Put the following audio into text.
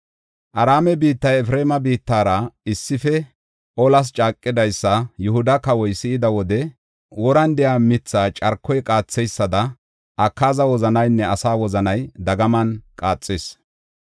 Araame biittay Efreema biittara issife olas caaqidaysa Yihuda kawoy si7ida wode, woran de7iya mithaa carkoy qaatheysada, Akaaza wozanaynne asaa wozanay dagaman qaaxis.